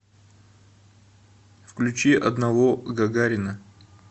включи одного гагарина